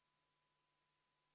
V a h e a e g